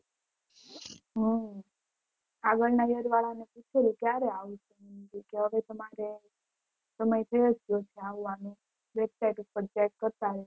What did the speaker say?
હમ આગળ ના year વાળાને પુચુયું કયારે આવવાનું તો રે તમારે તો મેં કીઘુ હતું આવવાનું website કરતા રહો